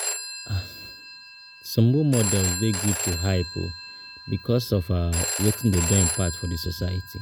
Some role models de good to hype because of wetin dem don impact for di society